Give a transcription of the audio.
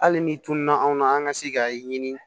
Hali ni tununna anw na an ka se ka ɲini